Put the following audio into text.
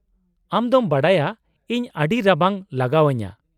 -ᱟᱢ ᱫᱚᱢ ᱵᱟᱰᱟᱭᱟ ᱤᱧ ᱟᱹᱰᱤ ᱨᱟᱵᱟᱝ ᱞᱟᱜᱟᱣ ᱟᱹᱧᱟᱹ ᱾